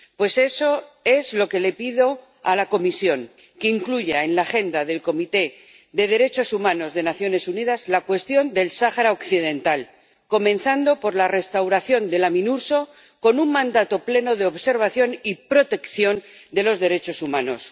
Pues eso es lo que le pido a la Comisión que incluya en la agenda del Consejo de Derechos Humanos de las Naciones Unidas la cuestión del Sáhara Occidental, comenzando por la restauración de la MINURSO, con un mandato pleno de observación y protección de los derechos humanos.